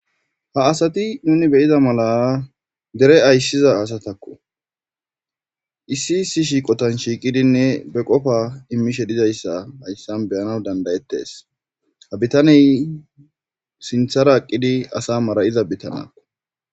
ha asati nuni beyiza mala dere ayssiza asatakko isi si shiiqotan shiiqidinne be qofa immishe dizayssa hayssan beyana dandayettes ha bitaney sinthara aqqidi asa mara7iza bitana